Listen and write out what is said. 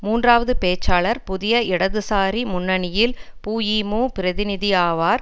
மூன்றாவது பேச்சாளர் புதிய இடதுசாரி முன்னணியில் புஇமு பிரதிநிதியாவார்